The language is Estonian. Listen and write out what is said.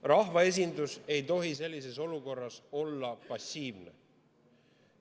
Rahvaesindus ei tohi sellises olukorras olla passiivne.